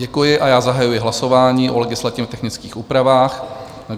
Děkuji a já zahajuji hlasování o legislativně technických úpravách.